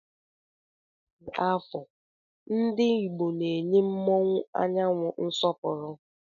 Na ụbọchi afọọ ndi igbo na enye mụọnwu anyanwu nsọpuru.